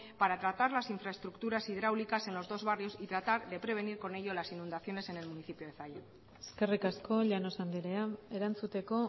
para tratar las infraestructuras hidráulicas en los dos barrios y tratar de prevenir con ello las inundaciones en el municipio de zalla eskerrik asko llanos andrea erantzuteko